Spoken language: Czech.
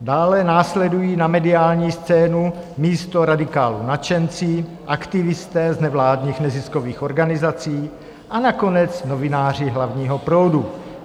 Dále následují na mediální scénu místo radikálů nadšenci, aktivisté z nevládních neziskových organizací a nakonec novináři hlavního proudu.